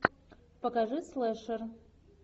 покажи слэшер